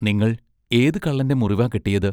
നിങ്ങൾ ഏത് കള്ളന്റെ മുറിവാ കെട്ടിയത്?